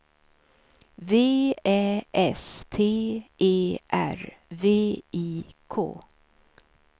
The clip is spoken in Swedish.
V Ä S T E R V I K